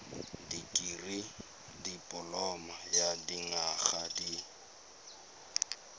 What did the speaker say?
dikirii dipoloma ya dinyaga di